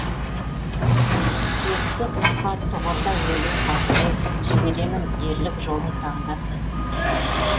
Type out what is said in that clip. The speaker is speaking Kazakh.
текті құсқа тұғырда өлу қасірет жіберемін ерлік жолын таңдасын